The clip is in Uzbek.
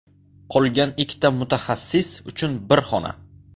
Qolgan ikkita mutaxassis uchun bir xona.